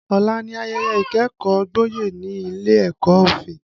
Ọ̀la ni ayẹyẹ ìkẹ́kọ̀ọ́ gboyè ní ilé ẹ̀kọ́ òfin